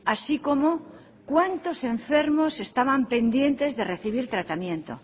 así como cuántos enfermos estaban pendientes de recibir tratamiento